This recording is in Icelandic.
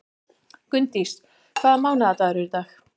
Gunndís, hvaða mánaðardagur er í dag?